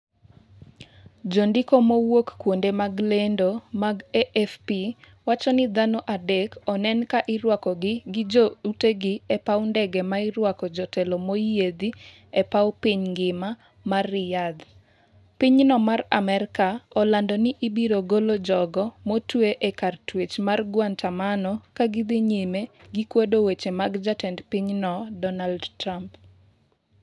jondiko mawuok kuonde mag lendo mag AFP wacho ni dhano adek onen kairwakogi gi joutegi epaw ndege mairwake jotelo moyiedhi e paw piny ngima mar Riyadh. Pinyno mar Amerka olando ni ibiro golo jogo motwe e kar twech mar Guantamano, kagidhi nyime gi kwedo weche mag jatend pinyno Donald Trump.